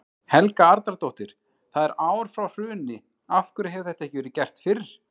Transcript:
Helga Arnardóttir: Það er ár frá hruni, af hverju hefur þetta ekki verið gert fyrr?